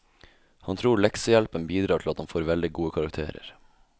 Han tror leksehjelpen bidrar til at han får veldig gode karakterer.